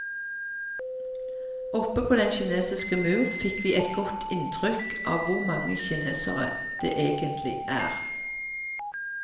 Oppe på den kinesiske mur fikk vi et godt inntrykk av hvor mange kinesere det egentlig er.